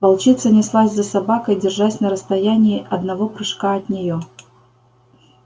волчица неслась за собакой держась на расстоянии одного прыжка от нее